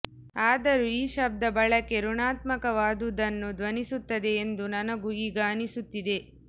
ಆದರೂ ಈ ಶಬ್ದ ಬಳಕೆ ಋಣಾತ್ಮಕವಾದುದನ್ನು ಧ್ವನಿಸುತ್ತದೆ ಎಂದು ನನಗೂ ಈಗ ಅನ್ನಿಸುತ್ತಿದೆ